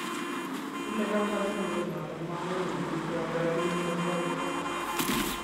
kile kabotindet noto manyoru biik che oldochini mboleaik choto